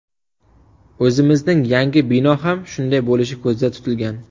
O‘zimizning yangi bino ham shunday bo‘lishi ko‘zda tutilgan.